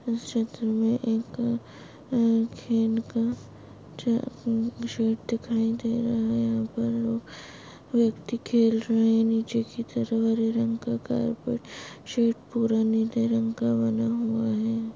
इस चित्र मे एक खेन का शेड दिखाई दे रहा है यहा पर लोग व्यक्ति खेल रहे नीचे की तरफ हरे रंग का कार्पेट शेड पुरा निले रंग का बना हुआ है।